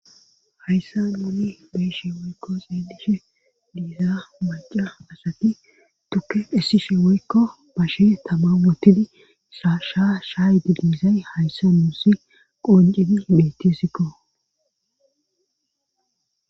Hayssa muni beeshe woykko xeedishe diiza maca asati tukke dhessishe woykko bashe tamamotidi saasha shaay di biizay hayssa nuussi qoncedi metesikko.